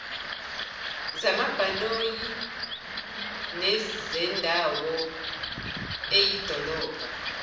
zamabhanoyi nezendawo eyidolobha